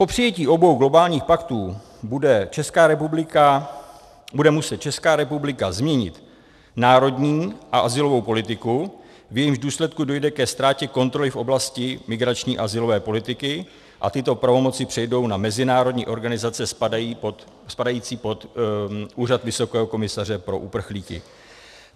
Po přijetí obou globálních paktů bude muset Česká republika změnit národní a azylovou politiku, v jejímž důsledku dojde ke ztrátě kontroly v oblasti migrační azylové politiky a tyto pravomoci přejdou na mezinárodní organizace spadající pod Úřad vysokého komisaře pro uprchlíky.